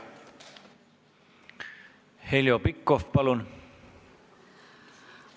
Heljo Pikhof, palun!